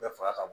Bɛɛ faga ka bon